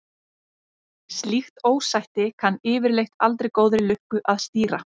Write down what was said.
Slíkt ósætti kann yfirleitt aldrei góðri lukka að stýra.